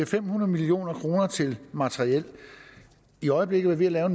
fem hundrede million kroner til materiel i øjeblikket er vi ved at